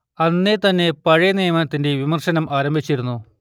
അന്നേ തന്നെ പഴയ നിയമത്തിന്റെ വിവർത്തനം ആരംഭിച്ചിരുന്നു